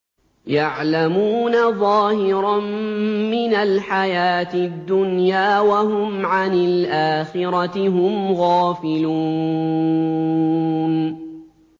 يَعْلَمُونَ ظَاهِرًا مِّنَ الْحَيَاةِ الدُّنْيَا وَهُمْ عَنِ الْآخِرَةِ هُمْ غَافِلُونَ